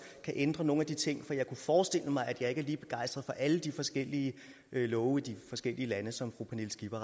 kan ændre nogle af de ting for jeg kunne forestille mig at jeg ikke er lige begejstret for alle de forskellige love i de forskellige lande som fru pernille skipper